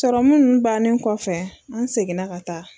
Sɔrɔmu ninnu bannen kɔfɛ an seginna ka taa.